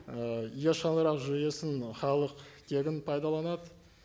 ы е шаңырақ жүйесін ы халық тегін пайдаланады